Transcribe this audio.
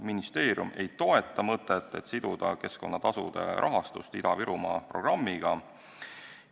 Ministeerium ei toeta mõtet, et siduda keskkonnatasud Ida-Virumaa programmiga.